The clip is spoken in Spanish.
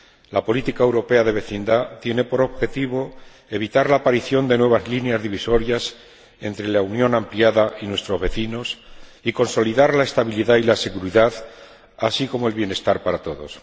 La política europea de vecindad tiene por objetivo evitar la aparición de nuevas líneas divisorias entre la Unión ampliada y nuestros vecinos y consolidar la estabilidad y la seguridad, así como el bienestar para todos.